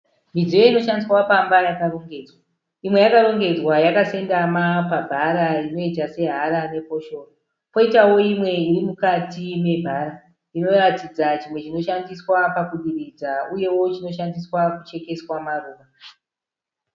Midziyo inoshandiswa pamba yakarongedzwa. Imwe yakarongedzwa yakasendama pabhara inoita sehara nefoshoro. Kwoitawo imwe iri mukati mebhara inoratidza chimwe chinoshandiswa pakudiridza uyewo chinoshandiswa kuchekeswa maruva.